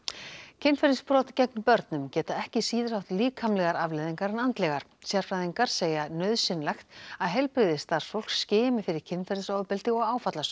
kynferðisbrot gegn börnum geta ekki síður haft líkamlegar afleiðingar en andlegar sérfræðingar segja nauðsynlegt að heilbrigðisstarfsfólk skimi fyrir kynferðisofbeldi og